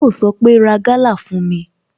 Yọ sọ pé "Ra Gala fún mi"